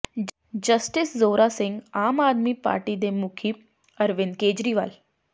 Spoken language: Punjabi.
ਜਸਟਿਸ ਜ਼ੋਰਾ ਸਿੰਘ ਆਮ ਆਦਮੀ ਪਾਰਟੀ ਦੇ ਮੁਖੀ ਅਰਵਿੰਦ ਕੇਜਰੀਵਾਲ